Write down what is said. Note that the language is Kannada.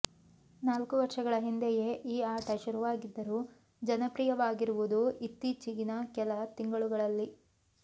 ನಾಲ್ಕು ವರ್ಷಗಳ ಹಿಂದೆಯೇ ಈ ಆಟ ಶುರುವಾಗಿದ್ದರೂ ಜನಪ್ರಿಯವಾಗಿರುವುದು ಇತ್ತೀಚೆಗಿನ ಕೆಲ ತಿಂಗಳುಗಳಲ್ಲಿ